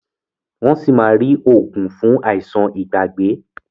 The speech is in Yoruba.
Wón sí má rí oògùn fún Àìsàn Ìgbàgbé